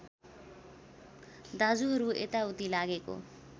दाजुहरू यताउति लागेको